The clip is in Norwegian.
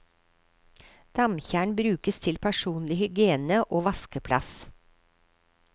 Damtjern brukes til personlig hygiene og vaskeplass.